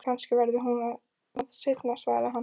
Kannski verður hún það seinna, svaraði hann.